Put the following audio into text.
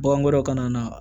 Bagan wɛrɛw kana na